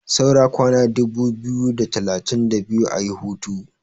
saura kwana dubu biyu da talatin biyu a yi hutu